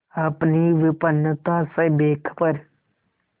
अपनी विपन्नता से बेखबर